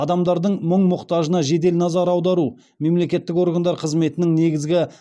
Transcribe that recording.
адамдардың мұң мұқтажына жедел назар аудару мемлекеттік органдар қызметінің негізгі